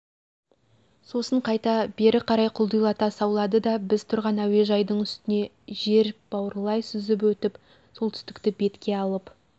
сосын қайта бері қарай құлдилата саулады да біз тұрған әуежайдың үстіне жер бауырлай сүзіп өтіп солтүстікті бетке алып